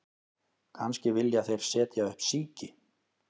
Kannski vilja þeir setja upp síki